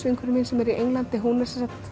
vinkona mín sem er í Englandi hún er